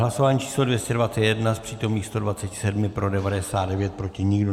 Hlasování číslo 221, z přítomných 127 pro 99, proti nikdo.